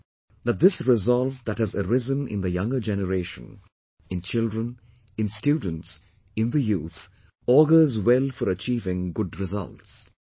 I am sure that this resolve that has arisen in the younger generation, in children, in students, in the youth, augurs well for achieving good results